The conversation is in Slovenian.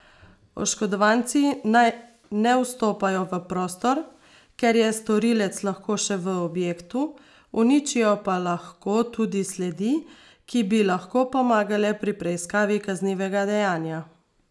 Oškodovanci naj ne vstopajo v prostor, ker je storilec lahko še v objektu, uničijo pa lahko tudi sledi, ki bi lahko pomagale pri preiskavi kaznivega dejanja.